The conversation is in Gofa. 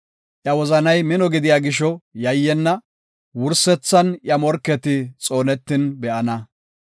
Iya wozanay mino gidiya gisho yayyenna; wursethan iya morketi xoonetin be7ana.